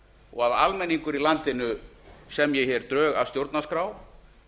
og að almenningur í landinu semji hér drög að stjórnarskrá